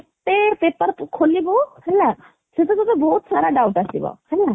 ଗୋଟେ paper କୁ ଖୋଲିବୁ ହେଲା ସେଇଥିରେ ତତେ ବହୁତ ସାରା doubt ଆସିବ ହେଲା